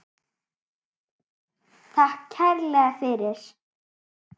Takk kærlega fyrir.